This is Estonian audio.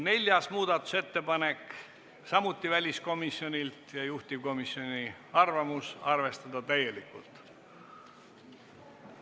Neljas muudatusettepanek, samuti väliskomisjonilt, juhtivkomisjoni arvamus: arvestada täielikult.